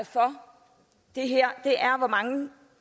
for det her er hvor mange